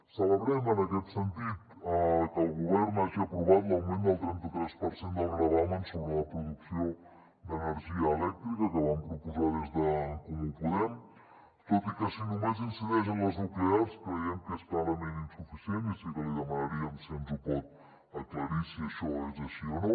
celebrem en aquest sentit que el govern hagi aprovat l’augment del trenta tres per cent del gravamen sobre la producció d’energia elèctrica que vam proposar des d’en comú podem tot i que si només incideix en les nuclears creiem que és clarament insuficient i sí que li demanaríem si ens ho pot aclarir si això és així o no